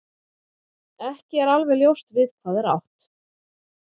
Ekki er alveg ljóst við hvað er átt.